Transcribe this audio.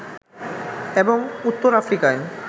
এবং উত্তর আফ্রিকায়